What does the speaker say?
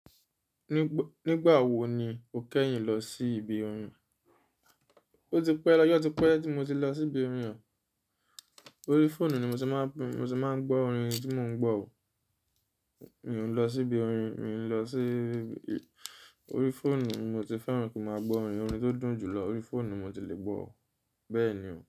Nígbà wo ni o kẹ́yìn lọ sí ibi orin? Ó ti pẹ́, ọjọ́ ti pẹ́ tí mo ti lọ sí ibi orin. Orí fóònù ni mo ti máa ń gbọ́ orin tí mò ń gbọ́ o. Mi ò lọ sí ibi orin, mi ò lọ sí-- orí fóònù mo ti fẹ́ràn kí n máa gbọ́ orin, orin tó dùn jùlọ orí fóònù mo ti lè gbọ́ o, bẹ́ẹ̀ ni o.